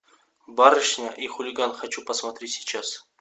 барышня и хулиган хочу посмотреть сейчас